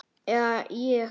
Eða ég.